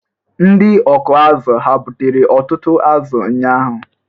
Ndị ọkụ azụ̀ hà gbutere ọtụtụ azụ ụnyahụ?